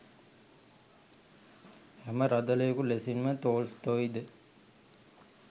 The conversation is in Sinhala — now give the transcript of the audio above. හැම රදළයකු ලෙසින්ම තෝල්ස්තෝයිද